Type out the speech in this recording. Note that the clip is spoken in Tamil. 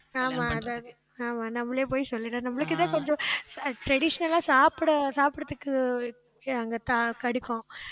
ஆமா, அதாவது ஆமா நம்பளே போய் சொல்லிட்டா நம்மளுக்கு தான் கொஞ்சம், அஹ் traditional லா சாப்பிட, சாப்பிட சாப்பிடுறதுக்கு அங்க த~ஆஹ் கிடைக்கும்